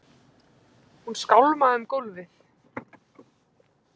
Hún skálmaði um gólfið.